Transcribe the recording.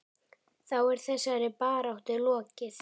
Þá er þessari baráttu lokið.